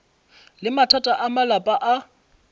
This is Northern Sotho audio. le mathata a malapa a